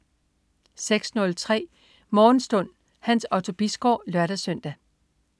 06.03 Morgenstund. Hans Otto Bisgaard (lør-søn)